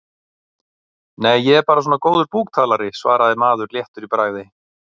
Nei, ég er bara svona góður búktalari, svaraði maður léttur í bragði.